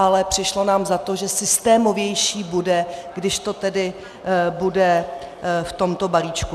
Ale přišlo nám za to, že systémovější bude, když to tedy bude v tomto balíčku.